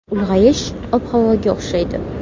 Ulg‘ayish ob-havoga o‘xshaydi.